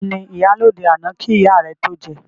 Tani ìyálóde àná kí ìyá rẹ tó jẹ?